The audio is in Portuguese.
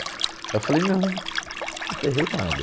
Eu falei, não, não ferrei nada.